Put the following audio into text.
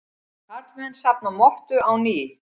Karlmenn safna mottu á ný